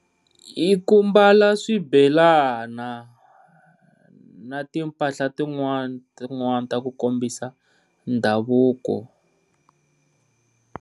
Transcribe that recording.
I ku mbala swibelana na ti mpahla tin'wana tin'wani ta ku kombisa ndhavuko.